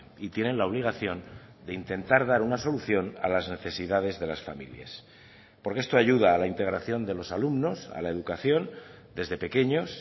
y tienen la obligación de intentar dar una solución a las necesidades de las familias porque esto ayuda a la integración de los alumnos a la educación desde pequeños